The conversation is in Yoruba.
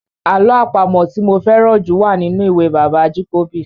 Àlọ́ àpamọ̀ tí mo fẹ́ràn jù wà nínú ìwé bàbá Ajíkòbí.